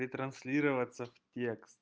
и транслироваться в текст